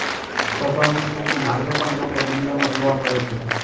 સ્વભાવથી શૌકીન આજે પણ લોકો દુનિયામાં જોવા મળે છે